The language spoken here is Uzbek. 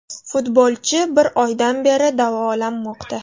Futbolchi bir oydan beri davolanmoqda.